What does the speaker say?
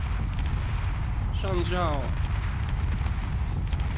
шанжао